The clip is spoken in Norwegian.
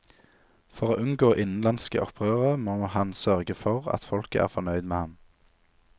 For å unngå innenlandske opprørere må han sørge for at folket er fornøyd med ham.